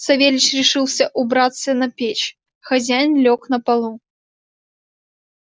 савельич решился убраться на печь хозяин лёг на полу